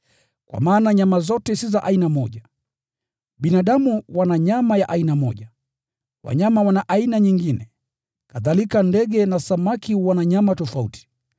Kwa maana nyama zote si za aina moja. Binadamu wana nyama ya aina moja, wanyama wana aina nyingine, kadhalika ndege na samaki wana nyama tofauti.